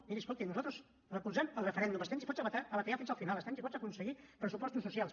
miri escolti nosaltres recolzem el referèndum estem disposats a batallar fins al final estem disposats a aconseguir pressupostos socials